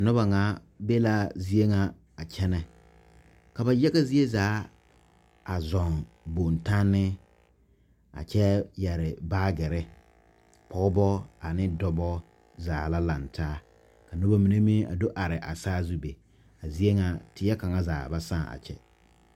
Noba ŋa be la zie ŋa a kyɛnɛ ka ba yaga zie zaa a zɔɔŋ bontanne a kyɛ yɛre baagere pɔgeba ane dɔba zaa la laŋ taa ka noba mine meŋ a do are a saazu be a zie ŋa teɛ kaŋa zaa ba sãã a kyɛ.